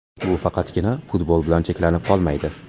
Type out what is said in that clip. Bu faqatgina futbol bilan cheklanib qolmaydi.